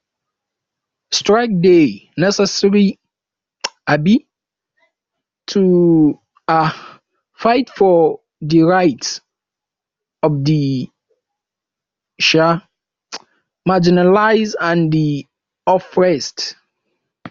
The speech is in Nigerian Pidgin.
strike dey necessary um to um fight for di rights of di um marginalized and di oppressed